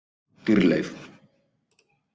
Dýrleif